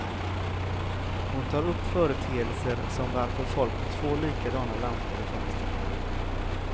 Hon tar upp företeelser som varför folk har två likadana lampor i fönstret.